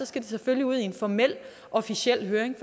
skal det selvfølgelig ud i en formel officiel høring